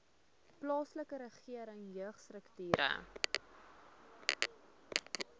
plaaslike regering jeugstrukture